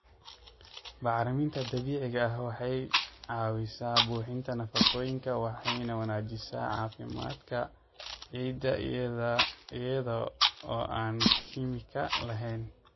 Bacriminta dabiiciga ah waxay caawisaa buuxinta nafaqooyinka waxayna wanaajisaa caafimaadka ciidda iyada oo aan kiimiko lahayn.